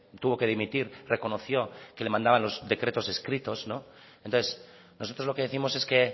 tuvo que dimitir reconoció que le mandaban los decretos escritos entonces nosotros lo que décimos es que